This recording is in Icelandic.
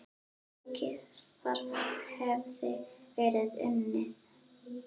Mikið starf hefði verið unnið.